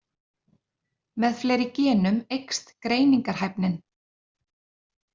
Með fleiri genum eykst greiningarhæfnin.